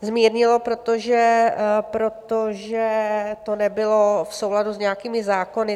Zmírnila, protože to nebylo v souladu s nějakými zákony.